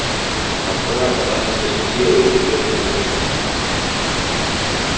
москва сама себе светило ей звезды не нужны